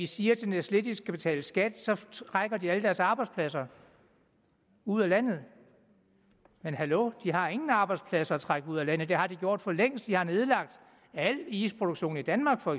siger til nestlé at de skal betale skat så trækker de alle deres arbejdspladser ud af landet men hallo de har ingen arbejdspladser at trække ud af landet det har de gjort for længst de har nedlagt al isproduktion i danmark for